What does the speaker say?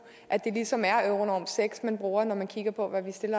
at det ligesom er euronorm seks man bruger når man kigger på hvad der skal